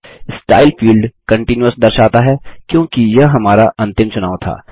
style field continuous दर्शाता है क्योंकि यह हमारा अंतिम चुनाव था